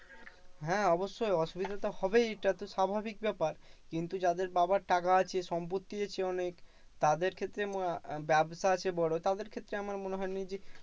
হ্যাঁ অবশ্যই অসুবিধা তো হবেই এটা তো স্বাভাবিক ব্যাপার। কিন্তু যাদের বাবার টাকা আছে, সম্পত্তি আছে অনেক, তাদের ক্ষেত্রে ব্যাবসা আছে বড় তাদের ক্ষেত্রে আমার মনে হয় না যে,